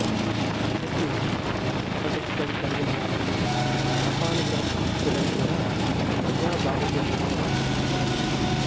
ఇతడు వాక్పటుత్వం కలిగినవాడని శాపానుగ్రహ సమర్ధుడని కూడా ప్రజాబాహుళ్యంలో కథలున్నాయి